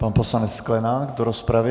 Pan poslanec Sklenák do rozpravy.